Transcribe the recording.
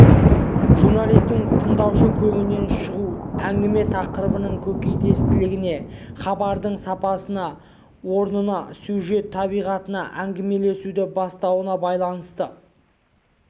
журналистің тыңдаушы көңілінен шығуы әңгіме тақырыбының көкейтестілігіне хабардың сапасына орнына сюжет табиғатына әңгімелесуді бастауына байланысты